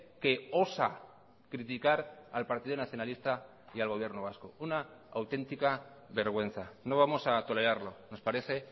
que osa criticar al partido nacionalista y al gobierno vasco una auténtica vergüenza no vamos a tolerarlo nos parece